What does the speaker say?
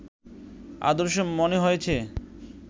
আদর্শ মনে হয়েছে